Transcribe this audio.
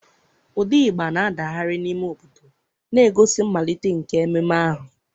Ụda igba na-adagharị n'ime obodo, na-egosi mmalite nke ememe ahụ.